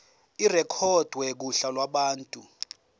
irekhodwe kuhla lwabantu